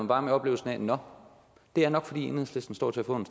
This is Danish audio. bare med oplevelsen af nå det er nok fordi enhedslisten står til at få en